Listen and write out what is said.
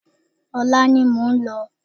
Ọ̀la ni mo ń lọ